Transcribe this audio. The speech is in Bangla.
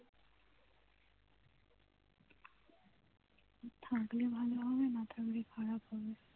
থাকলে ভালো হবে না থাকলে খারাপ হবে